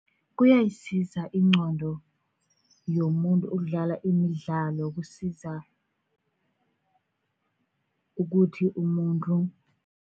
Kuyayisiza ingqondo yomuntu ukudlala imidlalo, kusiza ukuthi umuntu.